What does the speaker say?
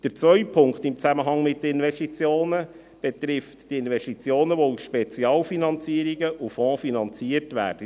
Der zweite Punkt in Zusammenhang mit den Investitionen betrifft die Investitionen, die aus Spezialfinanzierungen und Fonds finanziert werden.